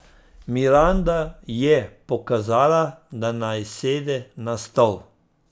Miranda je pokazala, da naj sede na stol.